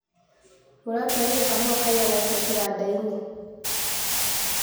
Mũratwarire kahũa kaigana atĩa kĩgandainĩ.